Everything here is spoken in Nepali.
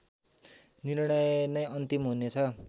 निर्णय नै अन्तिम हुनेछ